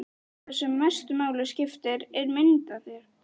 Það sem mestu máli skiptir er mynd af þér.